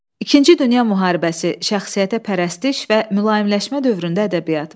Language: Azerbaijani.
İkinci Dünya müharibəsi, şəxsiyyətəpərəstlik və mülayimləşmə dövründə ədəbiyyat.